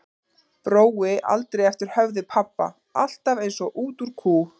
Brói aldrei eftir höfði pabba, alltaf eins og út úr kú.